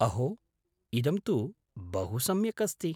अहो! इदं तु बहु सम्यक् अस्ति।